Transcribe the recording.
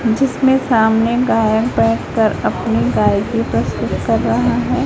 जिसमें सामने गायक बैठकर अपनी गायकी प्रस्तुत कर रहा है।